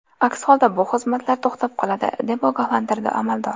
Aks holda bu xizmatlar to‘xtab qoladi, deb ogohlantirdi amaldor.